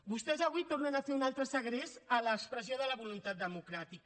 vostès avui tornen a fer un altre segrest a l’expressió de la voluntat democràtica